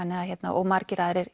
og margir aðrir